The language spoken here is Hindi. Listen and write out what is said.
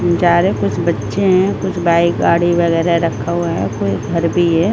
कुछ बच्चे हैं कुछ बाइक गाड़ी वगैरह रखा हुआ है कुछ घर भी है।